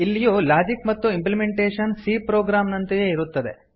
ಇಲ್ಲಿಯೂ ಲಾಜಿಕ್ ಮತ್ತು implementation c program ನಂತೆಯೇ ಇರುತ್ತದೆ